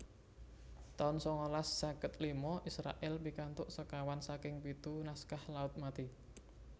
taun sangalas seket lima Israèl pikantuk sekawan saking pitu naskah Laut Mati